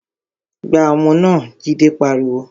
Gbá ọmọ náà! Jide pariwo